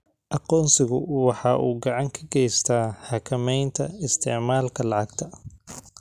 Aqoonsigu waxa uu gacan ka geystaa xakamaynta isticmaalka lacagta.